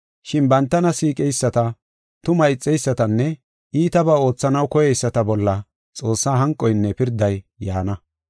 Shin bantana siiqeyisata, tumaa ixeysatanne iitabaa oothanaw koyeyisata bolla Xoossaa hanqoynne pirday yaana.